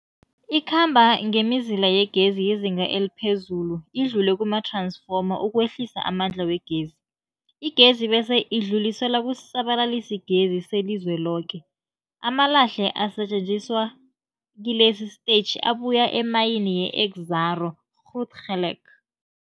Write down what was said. Ikhamba ngemizila yegezi yezinga eliphezulu idlule kumath-ransfoma ukwehlisa amandla wegezi. Igezi bese idluliselwa kusisa-balalisigezi selizweloke. Amalahle asetjenziswa kilesi sitetjhi abuya emayini yeExxaro's Grootgeluk.